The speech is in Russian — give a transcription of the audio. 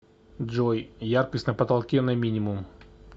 джой яркость на потолке на минимум